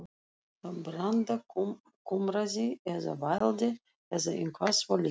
Branda kumraði eða vældi, eða eitthvað svoleiðis.